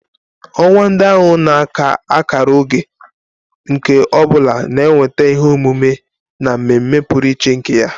Ọnwa ndị ahụ na-aka akara oge, nke ọ bụla na-eweta ihe omume na mmemme pụrụ iche nke ya